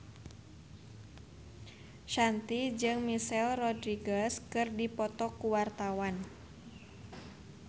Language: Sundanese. Shanti jeung Michelle Rodriguez keur dipoto ku wartawan